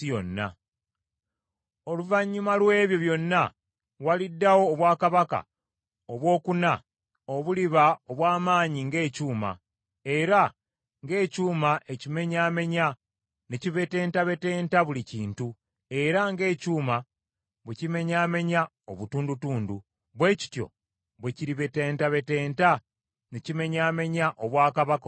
Oluvannyuma lw’ebyo byonna waliddawo obwakabaka obwokuna obuliba obw’amaanyi ng’ekyuma; era ng’ekyuma ekimenyaamenya ne kibetentabetenta buli kintu, era ng’ekyuma bwe kimenyaamenya obutundutundu, bwe kityo bwe kiribetentabetenta ne kimenyaamenya obwakabaka obulala bwonna.